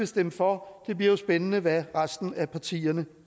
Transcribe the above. stemme for det bliver jo spændende hvad resten af partierne